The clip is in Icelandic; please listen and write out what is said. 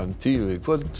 tíu í kvöld